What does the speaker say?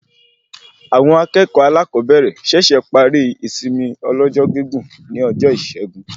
Awọn akẹẹkọ alakobere ṣẹṣẹ parí ìsinmi ọlọ́jọ́ gígùn ní ọjọ Isẹgun